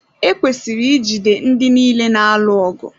Ekwesịrị ijide ndị niile na-alụ ọgụ.